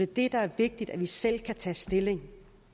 det der er vigtigt er at vi selv kan tage stilling